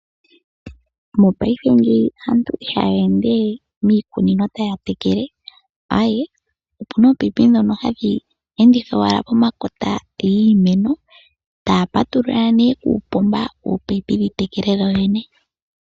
Mopaife ngeyi aantu ihaya endewe miikunino taya tekele, aee opuna oopayipi ndhono hadhi endithwa owala pomakota giimeno, taya patulula nee uupomba oopayipi dhi tekele dho dhene.